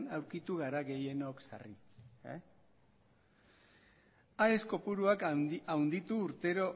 aurkitu gara gehienok sarritan aes kopuruak handitu urtero